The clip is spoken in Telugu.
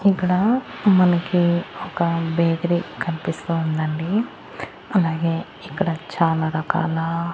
ఇక్కడ మనకి ఒక బేకరీ కనిపిస్తూ ఉందండి అలాగే ఇక్కడ చాలా రకాల--